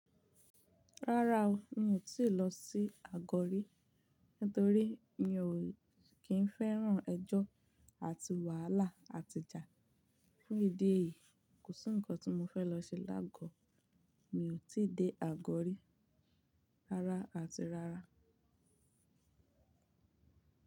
Rárá o, mi ò tí lọ sí àgọ̀ rí. Nítorí mi ò kí ń fẹ́ràn ẹjọ́ àti wàhálà àti ìjà. Fún ìdí èyí, kò sí ǹkan tí mo fẹ́ lọ ṣe lágo. Mi ò tí dé àgọ̀ rí rárá àti rárá.